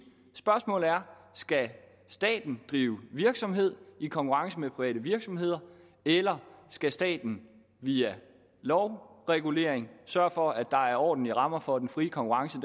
spørgsmålet er skal staten drive virksomhed i konkurrence med private virksomheder eller skal staten via lovregulering sørge for at der er ordentlige rammer for at den frie konkurrence